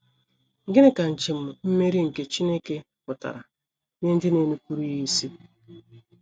Gịnị ka njem mmeri nke Chineke pụtara nye ndị na - enupụrụ ya isi?